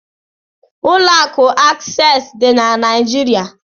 Ụlọ akụ Akses dị na Naịjirịa.